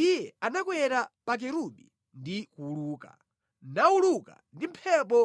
Iye anakwera pa Kerubi ndi kuwuluka; nawuluka ndi mphepo